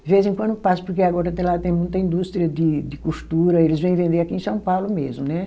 De vez em quando eu passo, porque agora até lá tem muita indústria de de costura, eles vêm vender aqui em São Paulo mesmo, né?